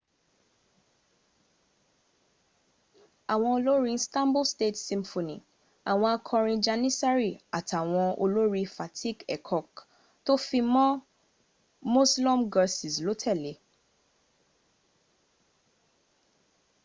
àwọn olórin stanbul state symphony àwọn akọrin janissary àtàwọn olórin fatih erkoç tó fi mọ́ müslüm gürses ló tẹ̀le